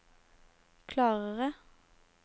klarere